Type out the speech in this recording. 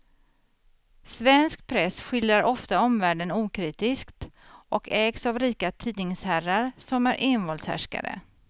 Svensk press skildrar ofta omvärlden okritiskt och ägs av rika tidningsherrar som är envåldshärskare.